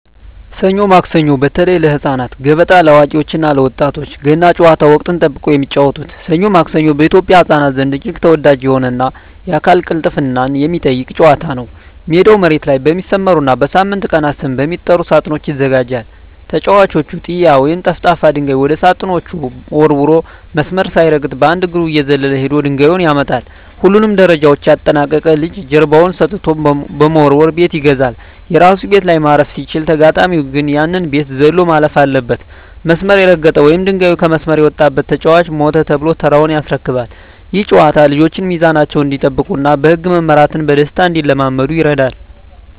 ሰኞ ማክሰኞ (በተለይ ለህፃናት)፣ገበጣ (ለአዋቂዎች እና ለወጣቶች)፣ ገና ጨዋታ (ወቅትን ጠብቆ የሚጫወቱት) "ሰኞ ማክሰኞ" በኢትዮጵያ ህፃናት ዘንድ እጅግ ተወዳጅ የሆነና የአካል ቅልጥፍናን የሚጠይቅ ጨዋታ ነው። ሜዳው መሬት ላይ በሚሰመሩና በሳምንቱ ቀናት ስም በሚጠሩ ሳጥኖች ይዘጋጃል። ተጫዋቹ "ጢያ" ወይም ጠፍጣፋ ድንጋይ ወደ ሳጥኖቹ ወርውሮ፣ መስመር ሳይረግጥ በአንድ እግሩ እየዘለለ ሄዶ ድንጋዩን ያመጣል። ሁሉንም ደረጃዎች ያጠናቀቀ ልጅ ጀርባውን ሰጥቶ በመወርወር "ቤት ይገዛል"። የራሱ ቤት ላይ ማረፍ ሲችል፣ ተጋጣሚው ግን ያንን ቤት ዘሎ ማለፍ አለበት። መስመር የረገጠ ወይም ድንጋዩ ከመስመር የወጣበት ተጫዋች "ሞተ" ተብሎ ተራውን ያስረክባል። ይህ ጨዋታ ልጆች ሚዛናቸውን እንዲጠብቁና በህግ መመራትን በደስታ እንዲለማመዱ ይረዳል።